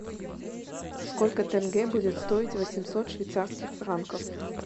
сколько тенге будет стоить восемьсот швейцарских франков